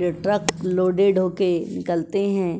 ल truck loaded होके निकलते हैं।